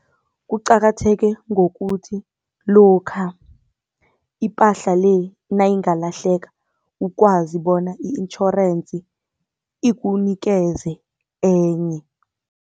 Kuqakatheke ngokuthi lokha ipahla le nayingalahleka, ukwazi bona i-insurance ikunikeze enye.